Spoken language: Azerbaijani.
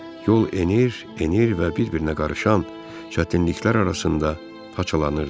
Yol enir, enir və bir-birinə qarışan çətinliklər arasında parçalanırdı.